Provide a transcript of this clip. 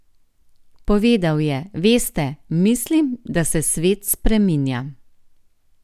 Povedal je: "Veste, mislim, da se svet spreminja.